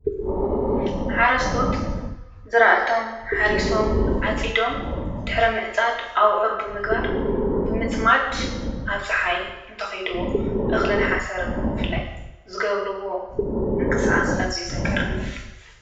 ሓረስቶት ዝራእቶም ሓሪሶም ኣጺዶም ድኅሪ ምዕጻድ ኣውዑር ብምግባር ብምጽማድ ኣብ ፀሓይ እንተኺድዎ እኽልን ሓሰርኒ ምፍላይ ዘገብርዎ እንቕሳስ እዙይ ዘገርን እያ።